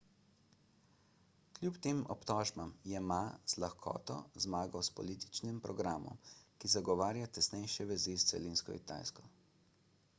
kljub tem obtožbam je ma z lahkoto zmagal s političnim programom ki zagovarja tesnejše vezi s celinsko kitajsko